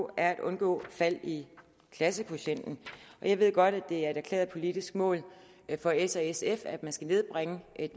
at undgå fald i klassekvotienten jeg ved godt at det er et erklæret politisk mål for s og sf at man skal nedbringe